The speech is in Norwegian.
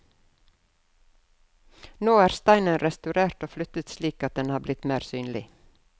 Nå er steinen restaurert og flyttet slik at den har blitt mer synlig.